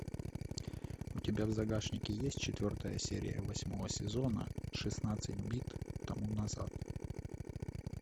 у тебя в загашнике есть четвертая серия восьмого сезона шестнадцать бит тому назад